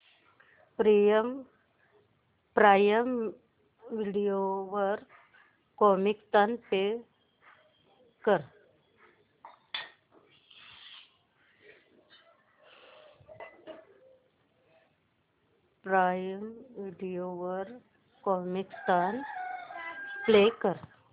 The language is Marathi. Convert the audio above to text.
प्राईम व्हिडिओ वर कॉमिकस्तान प्ले कर